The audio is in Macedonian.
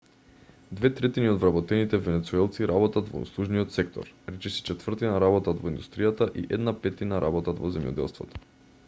две третини од вработените венецуелци работат во услужниот сектор речиси четвртина работат во индустријата и една петтина работат во земјоделството